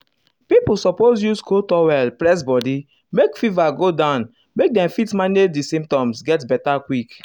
pipo suppose use cold towel press body make fever go down make dem fit manage di symptoms get beta quick.